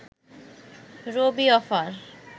Rabi offer